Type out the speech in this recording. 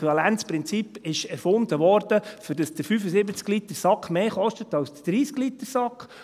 Das Äquivalenzprinzip wurde erfunden, damit der 75-Liter-Sack mehr kostet als der 30-Liter-Sack.